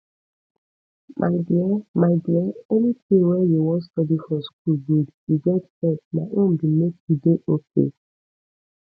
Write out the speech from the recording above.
my dear my dear anything wey you wan study for school good you get sense my own be make you dey okay